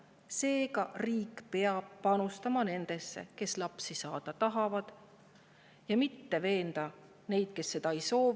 Seega, riik peab panustama nendesse, kes tahavad lapsi saada, mitte veenma neid, kes neid ei soovi.